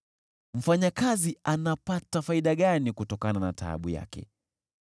Mfanyakazi anapata faida gani kutokana na taabu yake?